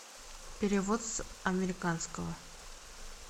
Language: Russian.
перевод с американского